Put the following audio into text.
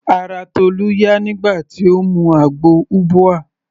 Ara Tolu yá nígbà tí Ó mu àgbo ubwa.